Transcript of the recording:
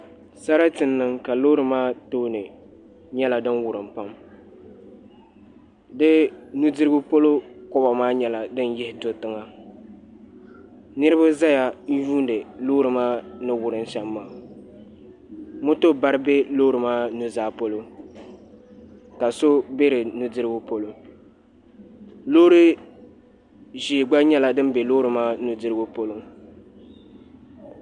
Sarati n niŋ ka loori maa tooni nyɛla din wurim pam di nudirigu polo koba maa nyɛla din yihi do tiŋa niraba ʒɛya n yuundi loori maa ni wurim shɛm maa moto bari bɛ loori maa nuzaa polo ka so bɛ di nudirigu polo loori ʒiɛ gba nyɛla din bɛ loori maa nudirigu polo